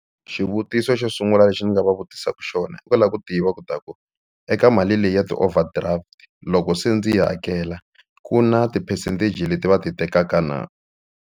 Xivutiso xo sungula lexi ni nga va vutisaka xona i ku lava ku tiva ku ta ku eka mali leyi ya ti-overdraft loko se ndzi yi hakela ku na ti-percentage leti va ti tekaka na.